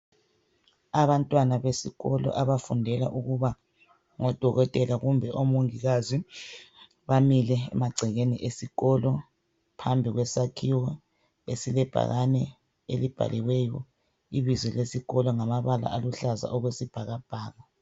Abantwana besikolo abafundela ukuba ngodokotela kumbe omongikazi bamile emagcekeni esikolo, phambi kwesakhiwo esilebhakani elibhaliweyo ibizo lesikolo ngamabala aluhlaza okwesibhakabhaka.